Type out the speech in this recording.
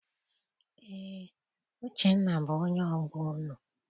Eé, Uchenna bụ onye ọgbọ unu.